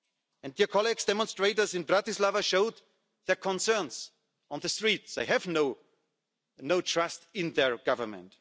And, colleagues, demonstrators in Bratislava have showed their concerns on the streets, they have no trust in their Government.